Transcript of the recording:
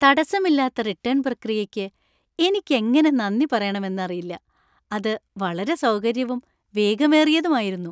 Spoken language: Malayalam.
തടസ്സമില്ലാത്ത റിട്ടേണ്‍ പ്രക്രിയയ്ക്ക് എനിക്കെങ്ങനെ നന്ദി പറയണമെന്നറിയില്ല; അത് വളരെ സൗകര്യവും വേഗമേറിയതുമായിരുന്നു.